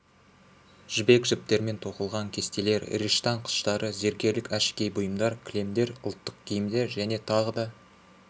жібек жіптермен тоқылған кестелер риштан қыштары зергерлік әшекей бұйымдар кілемдер ұлттық киімдер және тағы да